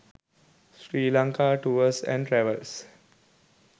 sri lanka tours and travels